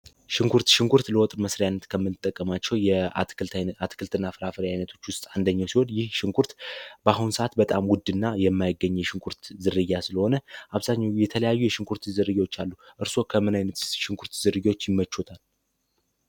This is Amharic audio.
ሽንኩርት ሽንኩርት ለወጥር መስሪያነት ከምልጠቀማቸው የአትክልት እና ፍራፈሪ ዓይነቶች ውስጥ አንደኘው ሲሆን ይህ ሽንኩርት በአሁን ሰዓት በጣም ውድ እና የማይገኘ የሽንኩርት ዝርያ ስለሆነ አብሳኛ የተለያዩ የሽንኩርት ዝርዮዎች አሉ እርስዎ ከምናይነት ሽንኩርት ዝርጊዎች ይመቾታል።